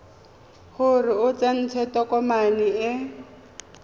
gore o tsentse tokomane e